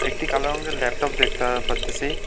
একটি কালো রঙের ল্যাপটপ দেখতে পারতাসি।